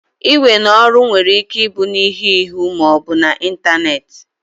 Iwe n'oru were Ike ibu n'ihu n'ihu ma obu n'Ịntanet